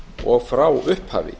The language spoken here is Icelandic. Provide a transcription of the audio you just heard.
og frá upphafi